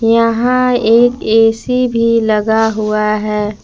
यहां एक ए_सी भी लगा हुआ है।